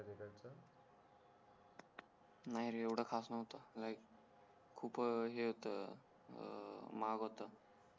नाही रे एवड खास नव्हता खूप हे होत अं महाग होत